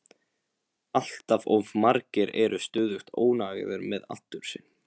Allt of margir eru stöðugt óánægðir með aldur sinn.